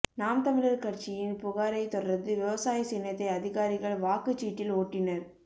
நாம் தமிழர் கட்சியின் புகாரை தொடர்ந்து விவசாயி சின்னத்தை அதிகாரிகள் வாக்குச் சீட்டில் ஒட்டினர்